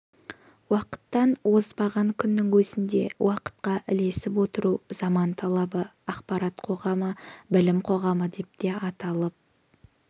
уақыттан озбаған күннің өзінде уақытқа ілесіп отыру заман талабы ақпарат қоғамы білім қоғамы деп те аталып